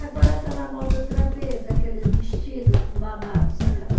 Agora está na moda outra vez, aquele vestido com babado, sabe?